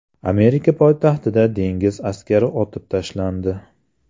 Amerika poytaxtida dengiz askari otib tashlandi.